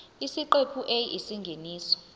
isiqephu a isingeniso